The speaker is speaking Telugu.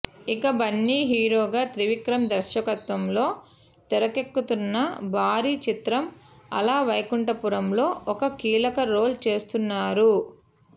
ఇక బన్నీ హీరోగా త్రివిక్రమ్ దర్శకత్వంలో తెరకెక్కుతున్న భారీ చిత్రం అలవైకుంఠపురంలో ఓ కీలక రోల్ చేస్తున్నారు